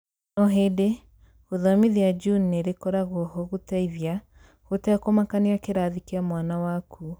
o hĩndĩ, guthomithia Juni nĩrĩkoragwo ho gũteithia, gũtekũmakania kĩrathi kĩa mwana waku